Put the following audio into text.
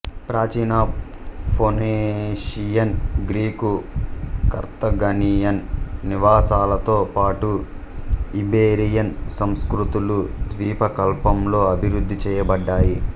ప్రాచీన Phoenician Greek Carthaginian నివాసాలతో పాటు ఇబెరియన్ సంస్కృతులు ద్వీపకల్పంలో అభివృద్ధి చేయబడ్డాయి